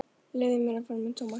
Leyfðu mér að fara með Thomas.